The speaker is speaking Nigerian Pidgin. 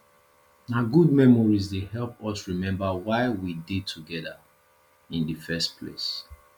na good memories dey help us remember why we dey together in the first place